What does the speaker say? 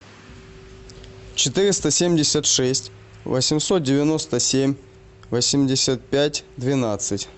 четыреста семьдесят шесть восемьсот девяносто семь восемьдесят пять двенадцать